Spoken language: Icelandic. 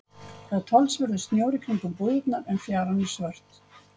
Það er talsverður snjór í kringum búðirnar en fjaran er svört.